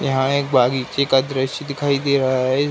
यहाँ एक बागीचे का दृश्य दिखाई दे रहा है।